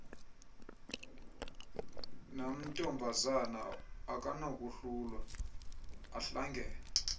namntombazana akanakohlulwa ahlangene